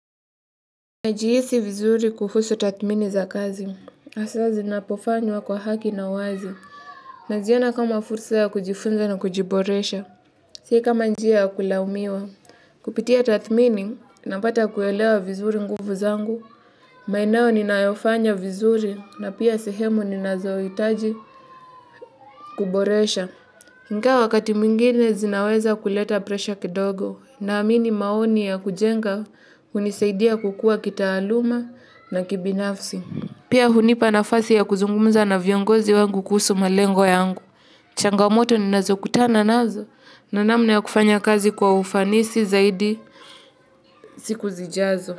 Najihisi vizuri kuhusu tathmini za kazi hasaa zinapofanywa kwa haki na wazi. Naziona kama fursa ya kujifunza na kujiboresha. Sio kama njia ya kulaumiwa kupitia tathmini, napata kuelewa vizuri nguvu zangu. Maeneo ninayofanya vizuri na pia sehemu ninazohitaji kuboresha. Ingawa wakati mwingine zinaweza kuleta presha kidogo. Naamini maoni ya kujenga hunisaidia kukua kitaaluma na kibinafsi. Pia hunipa nafasi ya kuzungumza na viongozi wangu kuhusu malengo yangu. Changamoto ninazokutana nazo na namna ya kufanya kazi kwa ufanisi zaidi siku zijazo.